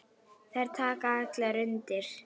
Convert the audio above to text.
Þær taka allar undir.